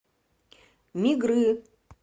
мигры